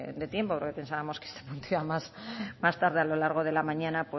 de tiempo porque pensábamos que se anunciaba más tarde a lo largo de la mañana